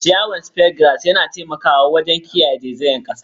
Ciyawar Speargrass yana taimakawa wajen kiyaye zaizayar kasa.